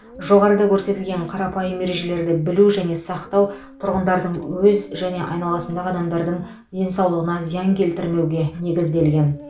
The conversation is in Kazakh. жоғарыда көрсетілген қарапайым ережелерді білу және сақтау тұрғындардың өз және айналасындағы адамдардың денсаулығына зиян келтірмеуге негізделген